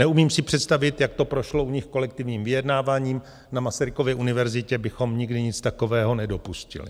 Neumím si představit, jak to prošlo u nich kolektivním vyjednáváním, na Masarykově univerzitě bychom nikdy nic takového nedopustili.